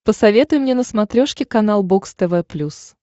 посоветуй мне на смотрешке канал бокс тв плюс